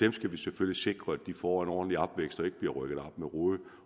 vi skal selvfølgelig sikre at de får en ordentlig opvækst og ikke bliver rykket op med rode